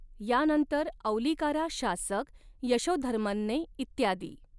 यानंतर औलिकारा शासक यशोधर्मनने इत्यादी.